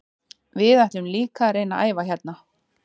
Við ætlum líka að reyna að æfa hérna.